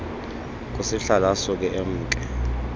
kusihlalo asuke emke